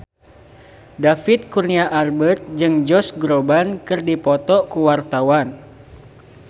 David Kurnia Albert jeung Josh Groban keur dipoto ku wartawan